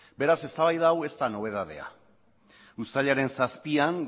beraz eztabaida hau ez da nobedadea uztailaren zazpian